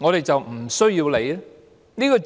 我們便無須理會？